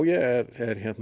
ég